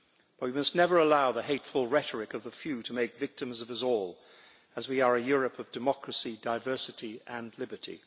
But we must never allow the hateful rhetoric of the few to make victims of us all, as we are a Europe of democracy, diversity and liberty.